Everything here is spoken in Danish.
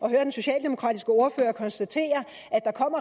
at høre den socialdemokratiske ordfører konstatere at der